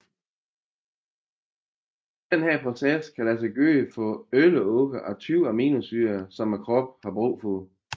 Denne proces kan lade sig gøre for 11 af de 20 aminosyrer som kroppen har brug for